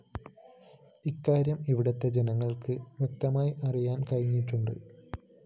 ഇക്കാര്യം ഇവിടുത്തെ ജനങ്ങള്‍ക്ക് വ്യക്തമായി അറിയാന്‍ കഴിഞ്ഞിട്ടുണ്ട്